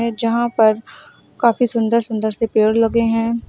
जहां पर काफी सुंदर सुंदर से पेड़ लगे हुए हैं।